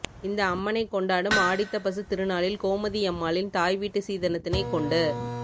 இந்த அம்மனைக் கொண்டாடும் ஆடித்தபசு திருநாளில் கோமதியம்மாளின் தாய் வீட்டு சீதனத்தினை கொண்டு